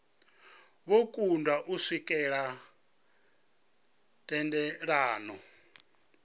vho kundwa u swikelela thendelano